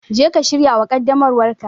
Je ka shirya wa ƙaddamarwar ka.